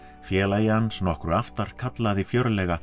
félagi hans nokkru aftar kallaði fjörlega